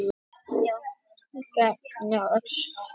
Sagðist hann frekar vilja af föggunum verða en koma aftur í Öxl.